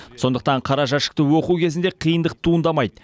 сондықтан қара жәшікті оқу кезінде қиындық туындамайды